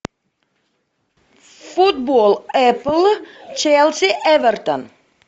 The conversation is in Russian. футбол апл челси эвертон